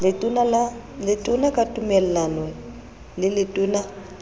letona ka tumellano le letona